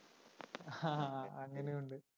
ആ അങ്ങിനെയുണ്ട്